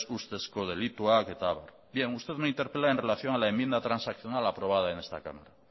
ustezko delituak eta abar usted me interpela en relación a la enmienda transaccional aprobada en este cámara